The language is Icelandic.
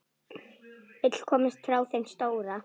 Vill komast frá þeim stóra.